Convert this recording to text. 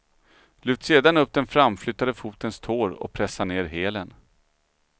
Lyft sedan upp den framflyttade fotens tår och pressa ner hälen.